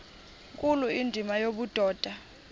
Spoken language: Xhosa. nkulu indima yobudoda